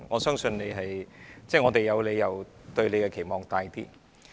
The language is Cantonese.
因此，我們有理由對局長抱有較大期望。